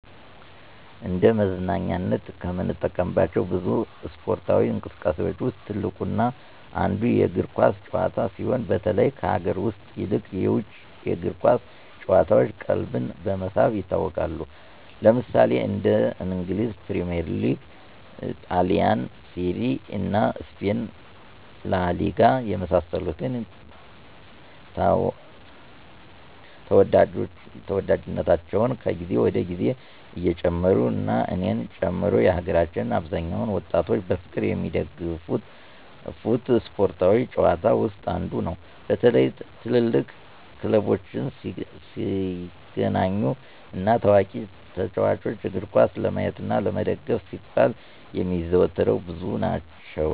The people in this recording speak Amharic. እንደ መዝናኛነት ከምንጠቀምባቸው ብዙ እስፓርታዊ እንቅስቃሴዎች ውስጥ ትልቁ እና አንዱ የእግር ኳስ ጭዋታ ሲሆን በተለይ ከሀገር ውስጥ ይልቅ የውጭ የእግር ኳስ ጭዋታዎች ቀልብን በመሳብ ይታወቃሉ። ለምሳሌ እንደ እንግሊዝ ፕሪሚዬር ሊግ; ጣሊንሴሪያ እና ስፔን ላሊጋ የመሳሰሉት ተዎዳጅነታቸው ከግዜ ወደ ግዜ እየጨመሩ እና እኔን ጨምሮ የሀገራችን አብዛኛውን ወጣቶች በፍቅር የሚደገፉት ስፓርታዊ ጭዋታ ውስጥ አንዱ ነው። በተለይ ትልልቅ ክለቦች ሲገናኙ እና ታዋቂ ተጫዎቾችን እግርኳስ ለማየት እና ለመደገፍ ሲባል የሚያዘወትረው ብዙ ናቸው።